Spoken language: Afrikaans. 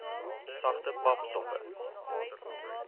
sagte pap soppe